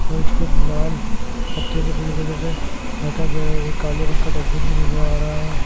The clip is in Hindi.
और इसको लाल पत्तों से पूरी जगह से ढका गया है एक काले रंग का डस्टबिन भी नजर आ रहा है।